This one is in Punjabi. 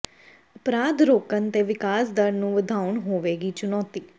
ਅਪਰਾਧ ਰੋਕਣ ਤੇ ਵਿਕਾਸ ਦਰ ਨੂੰ ਵਧਾਉਣਾ ਹੋਵੇਗੀ ਚੁਣੌਤੀ